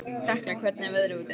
Tekla, hvernig er veðrið úti?